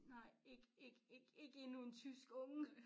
Nej ik ik ik ik endnu en tysk unge